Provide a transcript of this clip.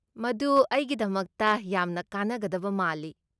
ꯃꯗꯨ ꯑꯩꯒꯤꯗꯃꯛꯇ ꯌꯥꯝꯅ ꯀꯥꯟꯅꯒꯗꯕ ꯃꯥꯜꯂꯤ꯫